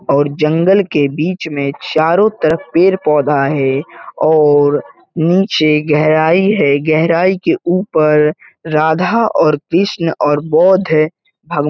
और जंगल के बीच में चारों तरफ पेड़ पौधा है और निचे गहराई है गहराई के ऊपर राधा और कृष्ण और बोद्ध भगवान --